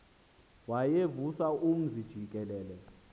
wayevusa umzi jikelele